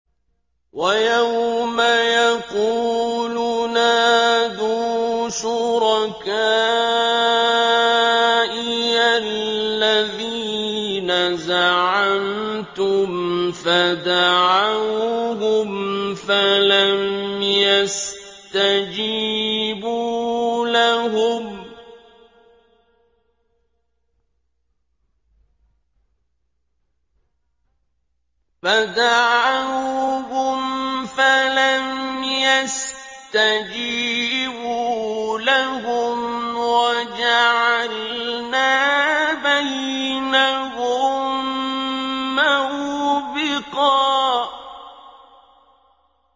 وَيَوْمَ يَقُولُ نَادُوا شُرَكَائِيَ الَّذِينَ زَعَمْتُمْ فَدَعَوْهُمْ فَلَمْ يَسْتَجِيبُوا لَهُمْ وَجَعَلْنَا بَيْنَهُم مَّوْبِقًا